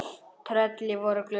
Tröllin voru glöð.